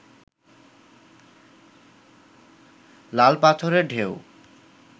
লাল পাথরের ঢেউ